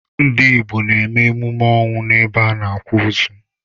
Ndị Igbo n'eme emume ọnwụ n'ebe a n'akwa ozu.